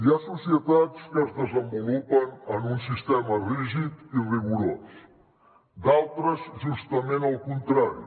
hi ha societats que es desenvolupen en un sistema rígid i rigorós d’altres justament el contrari